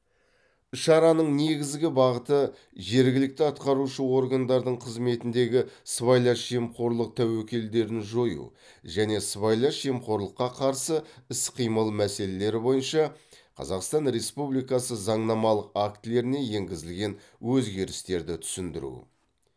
шараның негізгі бағыты жергілікті атқарушы органдардың қызметіндегі сыбайлас жемқорлық тәуекелдерін жою және сыбайлас жемқорлыққа қарсы іс қимыл мәселелері бойынша қазақстан республикасы заңнамалық актілеріне енгізілген өзгерістерді түсіндіру